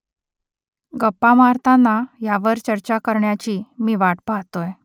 गप्पा मारताना ह्यावर चर्चा करण्याची मी वाट पाहतोय